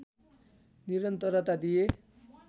निरन्तरता दिए